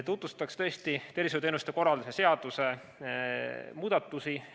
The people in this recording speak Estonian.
Tutvustan tervishoiuteenuste korraldamise seaduse muudatusi.